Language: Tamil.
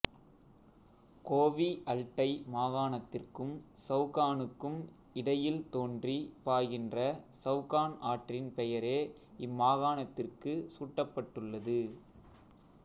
கோவிஅல்டை மாகாணத்திற்கும் சவ்கானுக்கும் இடையில் தோன்றிப் பாய்கின்ற சவ்கான் ஆற்றின் பெயரே இம்மாகாணத்திற்குச் சூட்டப்பட்டுள்ளது